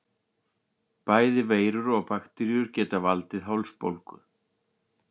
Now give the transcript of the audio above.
Bæði veirur og bakteríur geta valdið hálsbólgu.